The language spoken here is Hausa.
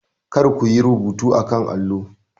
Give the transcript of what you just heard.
Kar ku yi rubuta a kan allo.